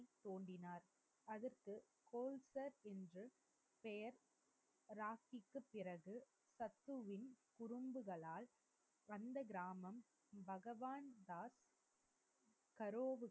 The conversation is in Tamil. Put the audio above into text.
தோன்றினார். அதற்கு கோல்சர் என்ற பெயர் ராகிப்பிற்கு பிறகு சத்குருவின் குறும்புகளால் அந்த கிராமம் பகவான் தாஸ்